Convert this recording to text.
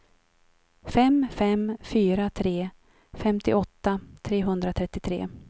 fem fem fyra tre femtioåtta trehundratrettiotre